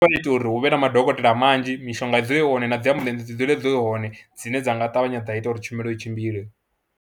Ndi nga ita uri hu vhe na madokotela manzhi, mishonga dzule i hone na dzi ambuḽentse dzi dzule dzi hone dzine dza nga ṱavhanya dza ita uri tshumelo i tshimbile.